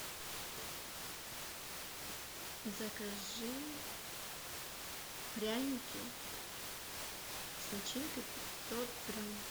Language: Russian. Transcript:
закажи пряники с начинкой пятьсот грамм